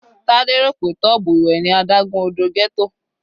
Tade rò pé tub ìwẹ̀ ni adágún odò ghetto.